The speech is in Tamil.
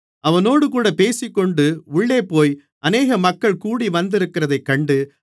அவனோடுகூட பேசிக்கொண்டு உள்ளேபோய் அநேக மக்கள் கூடிவந்திருக்கிறதைக் கண்டு